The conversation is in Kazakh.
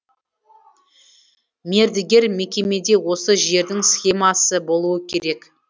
мердігер мекемеде осы жердің схемасы болуы керек